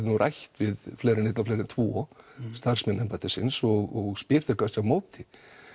nú rætt við fleiri en einn og fleiri en tvo starfsmenn embættisins og spyr þá kannski á móti